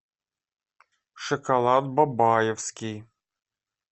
шоколад бабаевский